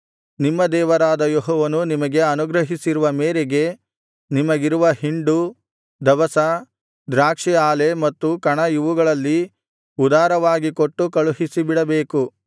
ನಿಮ್ಮ ದೇವರಾದ ಯೆಹೋವನು ನಿಮಗೆ ಅನುಗ್ರಹಿಸಿರುವ ಮೇರೆಗೆ ನಿಮಗಿರುವ ಹಿಂಡು ದವಸ ದ್ರಾಕ್ಷಿ ಆಲೆ ಮತ್ತು ಕಣ ಇವುಗಳಲ್ಲಿ ಉದಾರವಾಗಿ ಕೊಟ್ಟು ಕಳುಹಿಸಿಬಿಡಬೇಕು